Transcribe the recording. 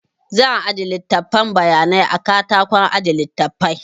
Zan aje littafin bayanai a katakon aje littafai